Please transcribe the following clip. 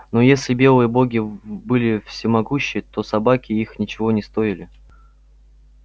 но если белые боги были всемогущи то собаки их ничего не стоили